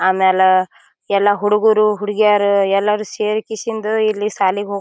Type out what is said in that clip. ಆಮೇಲ ಎಲ್ಲಾ ಹುಡುಗ್ರು ಹುಡುಗಿಯರ ಎಲ್ಲಾರು ಸೇರಿ ಕಿಸಿಂದು ಇಲ್ಲಿ ಶಾಲೆಗೆ ಹೋಗು--